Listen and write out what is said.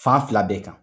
Fan fila bɛɛ kan